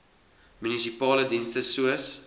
munisipale dienste soos